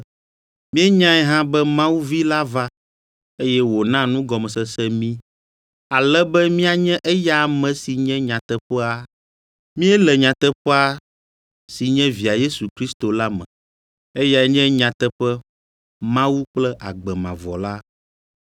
Míenyae hã be Mawu Vi la va, eye wòna nugɔmesese mí, ale be míanye eya ame si nye nyateƒea. Míele nyateƒea si nye Via Yesu Kristo la me. Eyae nye nyateƒe Mawu kple agbe mavɔ la.